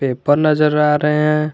Paper नजर आ रहे हैं।